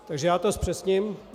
Takže já to zpřesním.